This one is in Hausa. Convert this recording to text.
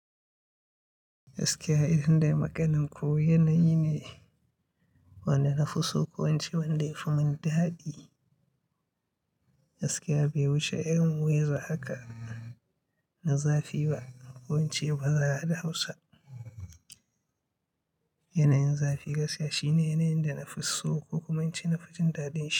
Askiya idan dai maganin ku yanayi ne wanda na fi so, ko wance banda yafi mun daɗi. Gaskiya bai wuce irin weather haka ba zafi ba, ko ince ba za ra hausa. Yanayin zafi gaskiya shine yanayin da na fi so, ko kuma na ce na fi jin daɗin shi.